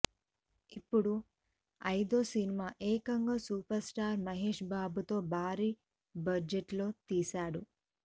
ఇప్పుడు ఐదో సినిమా ఏకంగా సూపర్ స్టార్ మహేష్ బాబు తో భారీ బడ్జెట్ లో తీసాడు